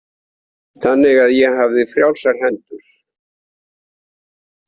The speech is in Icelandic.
Þannig að ég hafði frjálsar hendur.